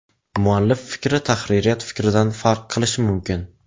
Muallif fikri tahririyat fikridan farq qilishi mumkin.